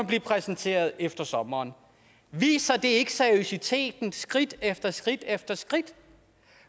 blive præsenteret efter sommeren viser det ikke seriøsiteten skridt efter skridt efter skridt